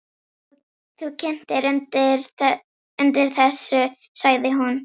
Þú kyntir undir þessu, sagði hún.